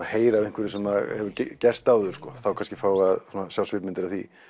heyra af einhverju sem hefur gerst áður þá kannski fáum við að sjá svipmyndir af því